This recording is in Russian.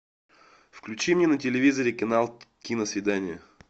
включи мне на телевизоре канал киносвидание